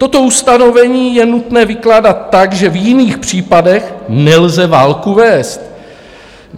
Toto ustanovení je nutné vykládat tak, že v jiných případech nelze válku vést.